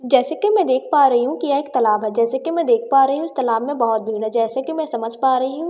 जैसे कि मैं देख पा रही हूँ कि यह एक तलाब है जैसे कि मैं देख पा रही हूँ इस तलाब में बहोत भीड़ है जैसे कि मैं समझ पा रही हूँ।